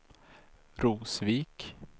Rosvik